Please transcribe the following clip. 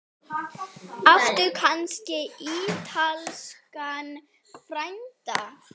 Áttu kannski ítalskan frænda?